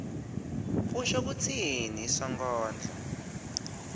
usho kutsini sonkondlo